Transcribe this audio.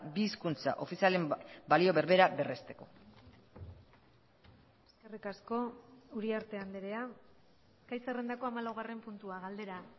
bi hizkuntza ofizialen balio berbera berresteko eskerrik asko uriarte andrea gai zerrendako hamalaugarren puntua galdera